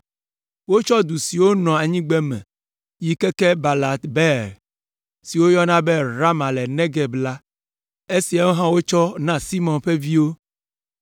Wotsɔ du siwo nɔ anyigbeme yi keke Balat Beer, si wogayɔna be (Rama le Negeb) la. Esiawo hã wotsɔ na Simeon ƒe viwo.